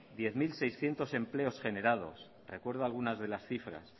diez mil seiscientos empleos generados recuerdo algunas de las cifras